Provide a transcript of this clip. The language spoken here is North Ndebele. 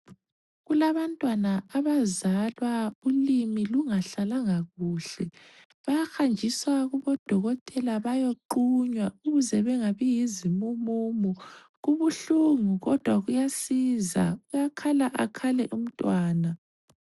Kulabantwana abazalwa ulimi lungahlalanga kuhle bayahanjiswa kubodokotela bayoqunywa ukuze bengabi yizimumumu kubuhlungu kodwa kuyasiza uyakhala akhale umntwana.